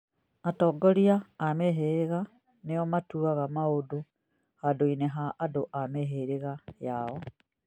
Atongoria a mĩhĩrĩga nĩo matuaga maũndũ handũ-inĩ ha andũ a mĩhĩrĩga yao